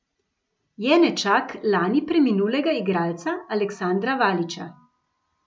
Je nečak lani preminulega igralca Aleksandra Valiča.